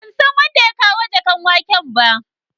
Ban san wanda ya kawo jakan waken ba.